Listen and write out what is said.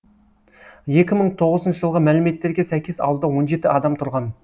екі мың тоғызыншы жылғы мәліметтерге сәйкес ауылда он жеті адам тұрған